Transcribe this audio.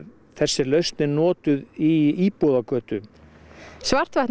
þessi lausn er notuð í íbúðargötu